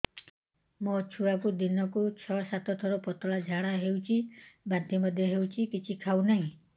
ମୋ ଛୁଆକୁ ଦିନକୁ ଛ ସାତ ଥର ପତଳା ଝାଡ଼ା ହେଉଛି ବାନ୍ତି ମଧ୍ୟ ହେଉଛି କିଛି ଖାଉ ନାହିଁ